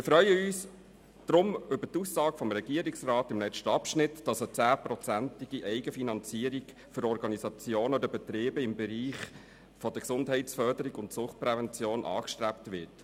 Wir freuen uns deshalb über die Aussage des Regierungsrats im letzten Abschnitt, wonach eine 10-prozentige Eigenfinanzierung für Organisationen oder Betriebe im Bereich Gesundheitsförderung und Suchtprävention angestrebt wird.